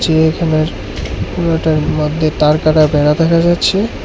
চিড়িয়াখানার পুরোটার মধ্যে তারকাটা বেড়া দেখা যাচ্ছে।